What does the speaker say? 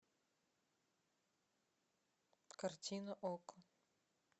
картина окко